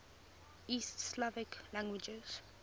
east slavic languages